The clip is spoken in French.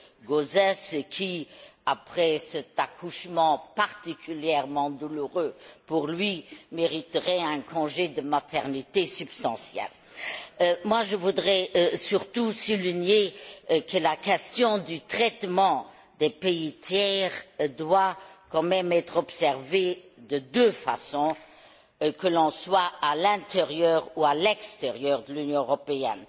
Gauzès, qui, après cet accouchement particulièrement douloureux pour lui, mériterait un congé de maternité substantiel. Je voudrais surtout souligner que la question du traitement des pays tiers doit quand même être observée de deux façons, selon que l'on est à l'intérieur ou à l'extérieur de l'Union européenne.